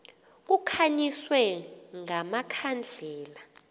kukhanyiswe nga makhandlela